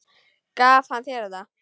Gaf hann þér þetta?